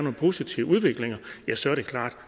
en positiv udvikling